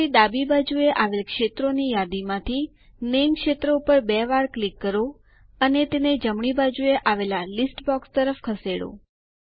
હવે ડાબી બાજુએ આવેલ ક્ષેત્રોની યાદીમાંથી નામે ક્ષેત્ર ઉપર બે વાર ક્લિક કરો અને તેને જમણી બાજુએ આવેલા લીસ્ટ યાદી બોક્સ તરફ ખસેડો